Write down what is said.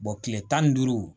kile tan ni duuru